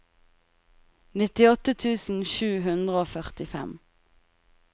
nittiåtte tusen sju hundre og førtifem